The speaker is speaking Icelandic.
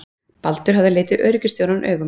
Baldur hafði litið lögreglustjórann augum.